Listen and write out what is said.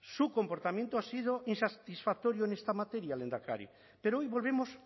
su comportamiento ha sido insatisfactorio en esta materia lehendakari pero hoy volvemos